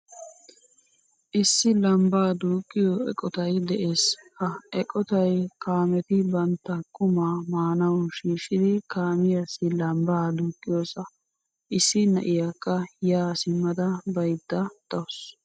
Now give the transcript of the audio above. Issi lambba duuqiyo eqqottay de'ees. Ha eqottay kaametti bantta qumaa maanawu shiishidi kaamiyassi lambba duuqiyosa. Issi na'iyaka ya simmada baydda deawusu.